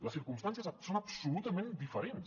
les circumstàncies són absolutament diferents